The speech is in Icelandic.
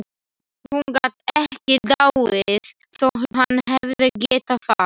Hún gat ekki dáið þótt hann hefði getað það.